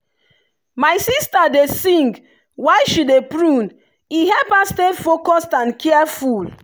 my sister dey sing while she dey prune e help her stay focused and careful.